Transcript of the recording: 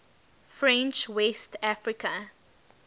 french west africa